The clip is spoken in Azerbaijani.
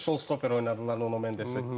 Sol stoper oynadı Donnarumma, Mendes.